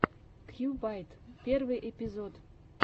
кьюбайт первый эпизод